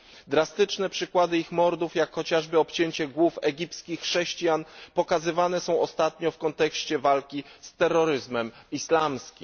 Drastyczne przykłady ich mordów, jak chociażby obcięcie głów egipskich chrześcijan, pokazywane są ostatnio w kontekście walki z terroryzmem islamskim.